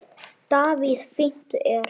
Davíð Fínt er.